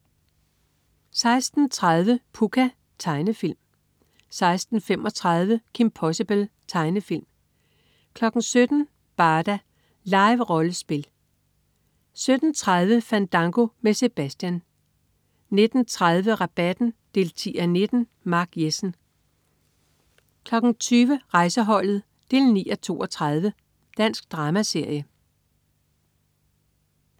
16.30 Pucca. Tegnefilm 16.35 Kim Possible. Tegnefilm 17.00 Barda. Live-rollespil 17.30 Fandango med Sebastian 19.30 Rabatten 10:19. Mark Jessen 20.00 Rejseholdet 9:32. Dansk dramaserie